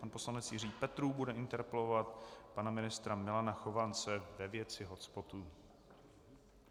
Pan poslanec Jiří Petrů bude interpelovat pana ministra Milana Chovance ve věci hotspotů.